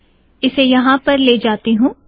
इसे यहाँ पर ले जातीं हूँ